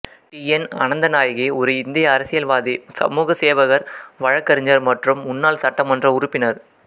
D N Ananthanayaki ஒரு இந்திய அரசியல்வாதி சமூக சேவகர் வழக்கறிஞர் மற்றும் முன்னாள் சட்டமன்ற உறுப்பினர்